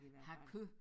Har kød